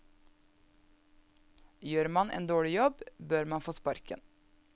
Gjør man en dårlig jobb, bør man få sparken.